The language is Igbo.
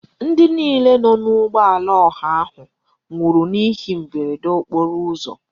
Ndị niile nọ n'ụgbọala ọha ahụ nwụrụ n'ihe mberede nke okporo ụzọ.